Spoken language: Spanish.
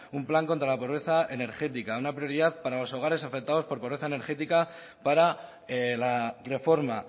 un plan contra la pobreza energética una prioridad para los hogares afectados por pobreza energética para la reforma